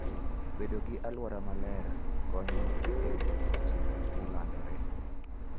Bedo gi alwora maler konyo e geng'o tuoche ma landore.